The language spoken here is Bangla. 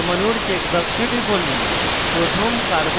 oxygen পরমাণুর check box টিপুন